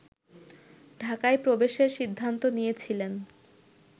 ঢাকায় প্রবেশের সিদ্ধান্ত নিয়েছিলেন